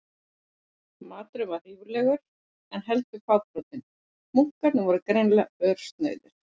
Maturinn var ríflegur, en heldur fábrotinn- munkarnir voru greinilega örsnauðir.